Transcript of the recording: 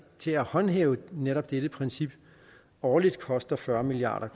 til at håndhæve netop dette princip årligt koster fyrre milliard